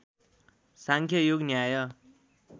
साङ्ख्य योग न्याय